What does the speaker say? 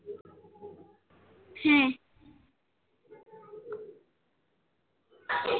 হ্যাঁ।